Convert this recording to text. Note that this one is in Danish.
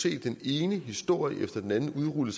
se den ene historie efter den anden blive udrullet